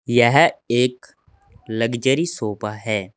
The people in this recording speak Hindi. यह एक लग्जरी शॉप है।